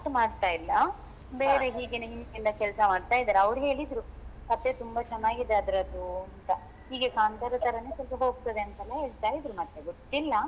ಮಾಡ್ತಾ ಇಲ್ಲಾ ಬೇರೆ ಹೀಗೆ ಹಿಂದಿನಿಂದ ಕೆಲಸ ಮಾಡ್ತಾ ಇದ್ದಾರೆ ಅವ್ರು ಹೇಳಿದ್ರು ಕಥೆ ತುಂಬಾ ಚನ್ನಾಗಿದೆ ಅದ್ರದ್ದು ಅಂತ ಹೀಗೆ ಕಾಂತಾರ ತರನೇ ಸ್ವಲ್ಪ ಹೋಗ್ತದೆ ಅಂತೆಲ್ಲ ಹೇಳ್ತಾ ಇದ್ರು ಮತ್ತೆ ಗೊತ್ತಿಲ್ಲಾ